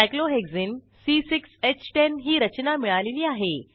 cyclohexene ही रचना मिळालेली आहे